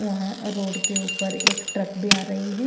वहां रोड के ऊपर एक ट्रक भी आ रही है ।